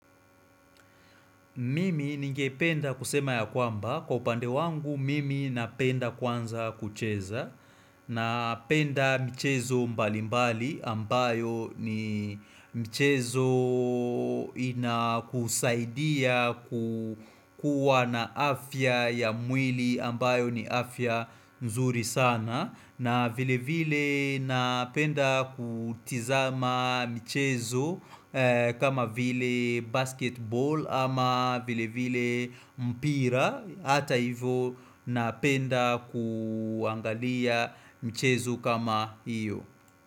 Mimi ningependa kusema yakwamba, kwa upande wangu mimi napenda kwanza kucheza Napenda michezo mbali mbali ambayo ni michezo inakusaidia kukuwa na afya ya mwili ambayo ni afya nzuri sana na vile vile napenda kutizama michezo kama vile basketball ama vile vile mpira Hata hivo napenda kuangalia mchezo kama iyo.